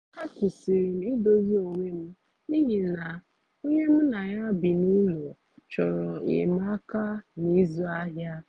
a kwụsịrị m idozi onwe m n’ihi na onye mu na ya bi n'ụlọ chọrọ enyemaka na ịzụ ahịa